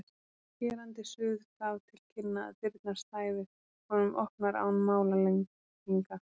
og skerandi suð gaf til kynna að dyrnar stæðu honum opnar án málalenginga.